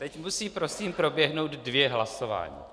Teď musí prosím proběhnout dvě hlasování.